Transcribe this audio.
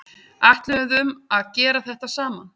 Ætluðum að gera þetta saman